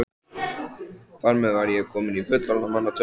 Þar með var ég komin í fullorðinna manna tölu.